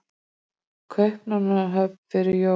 Kaupmannahöfn fyrir jól?